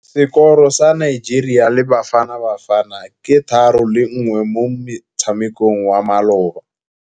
Sekôrô sa Nigeria le Bafanabafana ke 3-1 mo motshamekong wa malôba.